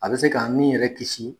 A bɛ se k'an nin yɛrɛ kisi